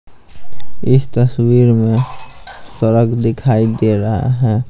इस तस्वीर में सड़क दिखाई दे रहा है।